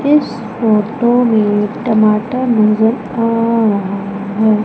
इस फोटो में टमाटर नजर आ रहा है।